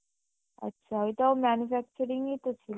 আচ্ছা, এটাও manufacturing ই তো ছিলো